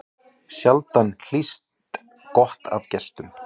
Sjaldan hlýst gott af gestum.